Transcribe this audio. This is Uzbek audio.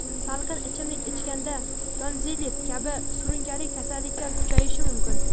salqin ichimlik ichganda tonzillit kabi surunkali kasalliklar kuchayishi mumkin.